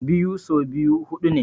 Biyu so biyu huɗu ne.